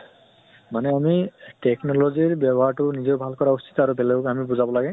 মানে আমি technology ৰ ব্য়ৱহাৰ তো নিজৰ ভাল কৰা উচিত আৰু বেলেগক আমি বুজাব লাগে